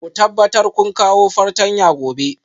Ku tabbatar kun kawo fartanya gobe